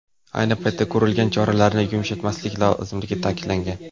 Ayni paytda ko‘rilgan choralarni yumshatmaslik lozimligi ta’kidlangan.